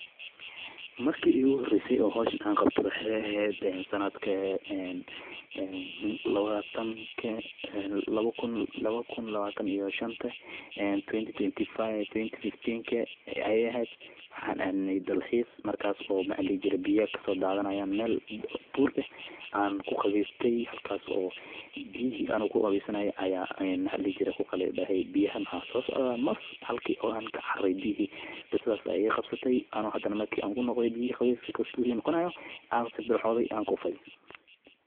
Marki igu horeyse oo hawshan qabte waxa eheed sanadka ee lawa kun lawatan iyo shaanta 2025 aye eheed waaxan adnaay dalxiis waxa ladihi jire biyo oo kaso dadanaya mel buur eh aan ku qaweysanayo halkaso biyihi ano ku qaweysanayo waxa la dihi jire biyaha waxa sosocda mas halkas ba ka caraare biyihi qisadas ba iga qabsate ano hadan biyihi qabeysa ka kusi noqonayo aan sabiriraxode aan kuufe